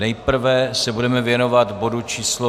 Nejprve se budeme věnovat bodu číslo